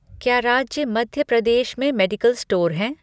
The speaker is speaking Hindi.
क्या राज्य मध्य प्रदेश में मेडिकल स्टोर हैं?